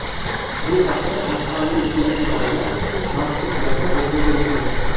Bu haqda mahalliy telekanalda maxsus lavha efirga berilgan .